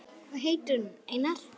Hvað heitir hún, Einar?